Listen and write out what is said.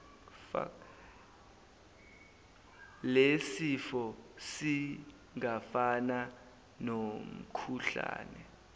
lesifo singafana nomkhuhlane